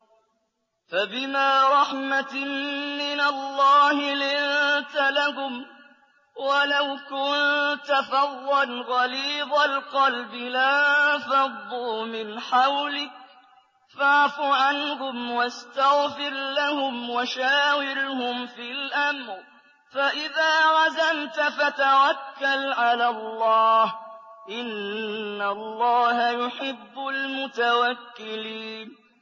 فَبِمَا رَحْمَةٍ مِّنَ اللَّهِ لِنتَ لَهُمْ ۖ وَلَوْ كُنتَ فَظًّا غَلِيظَ الْقَلْبِ لَانفَضُّوا مِنْ حَوْلِكَ ۖ فَاعْفُ عَنْهُمْ وَاسْتَغْفِرْ لَهُمْ وَشَاوِرْهُمْ فِي الْأَمْرِ ۖ فَإِذَا عَزَمْتَ فَتَوَكَّلْ عَلَى اللَّهِ ۚ إِنَّ اللَّهَ يُحِبُّ الْمُتَوَكِّلِينَ